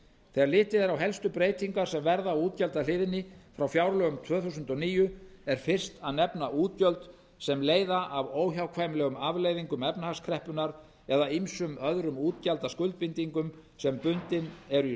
þegar litið eru helstu breytingar sem verða á útgjaldahliðinni frá fjárlögum tvö þúsund og níu er fyrst að nefna útgjöld sem leiða af óhjákvæmilegum afleiðingum efnahagskreppunnar eða ýmsum öðrum útgjaldaskuldbindingum sem bundin eru í